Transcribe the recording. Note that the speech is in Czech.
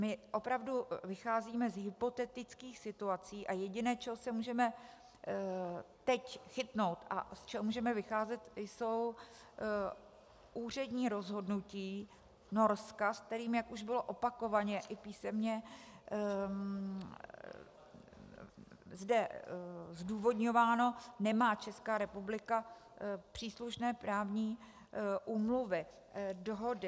My opravdu vycházíme z hypotetických situací a jediné, čeho se můžeme teď chytnout a z čeho můžeme vycházet, jsou úřední rozhodnutí Norska, s kterým, jak už bylo opakovaně i písemně zde zdůvodňováno, nemá Česká republika příslušné právní úmluvy, dohody.